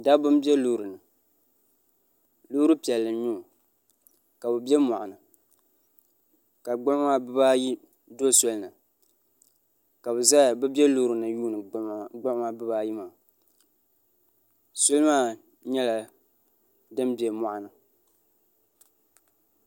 dabba n bɛ loori ni loori piɛlli n nyɛo ka bi bɛ moɣani ka gbuɣuma bibaayi do soli ni ka bi bɛ loori ni yuundi gbuɣuma maa bibaayi maa soli maa nyɛla din bɛ moɣani